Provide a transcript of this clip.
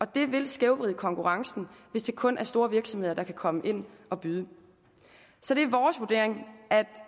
det vil skævvride konkurrencen hvis det kun er store virksomheder der kan komme ind og byde så det er vores vurdering at